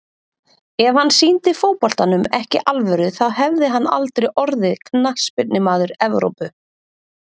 Ef hann sýndi fótboltanum ekki alvöru þá hefði hann aldrei orðið Knattspyrnumaður Evrópu.